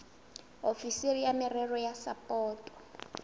ofisiri ya merero ya sapoto